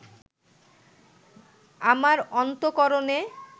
আমার অন্তঃকরণে